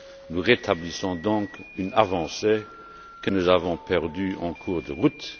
Nous rétablissons donc une avancée que nous avions perdue en cours de route.